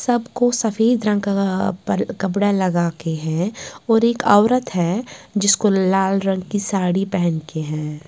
सबको सफेद रंग का आ कपड़ा लगा के हैं और एक औरत है जिसको लाल रंग की साड़ी पेहन के हैं।